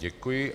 Děkuji.